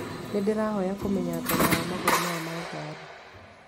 Nĩ ndĩrahoya kũmenya thogora wa magũrũ maya ma ngari?